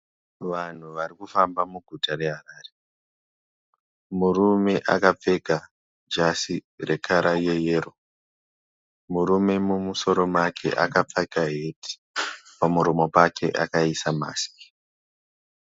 Vanhu varikufamba muguta reHarare Murume akapfeka jasi rekara yeyero. Murume mumusoro akapfeka heti. Pamuromo pake akaisa masiki.